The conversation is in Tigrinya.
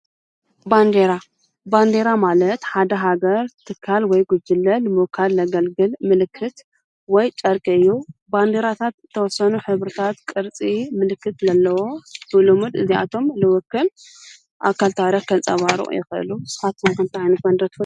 ባንዴራ፡- ባንዴራ ማለት ሓደ ሃገር ትካል ወይ ጕጅለን ንምውካል ለገልግል ምልክት ወይ ጨርቂ እዩ፡፡ ባንዴራታት ተወሰኑ ሕብርታት ቅርጺ ምልክት ለለዎ ብሉሙድ እዚኣቶም ልዉክል ኣካል ታረኽ ከንጸባሩቑ የኸአሉ ፡፡ንስኻትኩም ኸ አንታይ ዓይነት ባንዴራ ትፈልጡ?